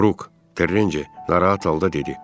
Bruk, Terrencə narahat halda dedi.